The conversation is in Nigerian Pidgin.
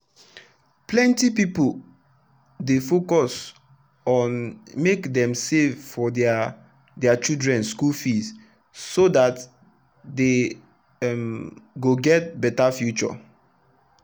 plenty people dey focus on make dem save for their their children schoolfees so that they um go get better future.